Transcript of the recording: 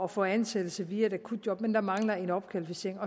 at få ansættelse via et akutjob men der mangler en opkvalificering